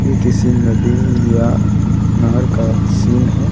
ये किसी नदी या नहर का सीन है।